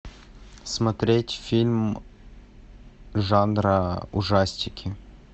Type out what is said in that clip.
смотреть фильм жанра ужастики